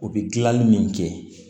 U bɛ dilanli min kɛ